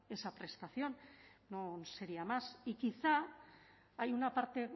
esa prestación no sería más y quizá hay una parte